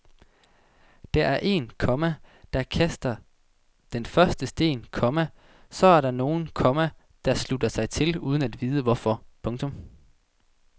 Der er en, komma der kaster den første sten, komma så er der nogen, komma der slutter sig til uden at vide hvorfor. punktum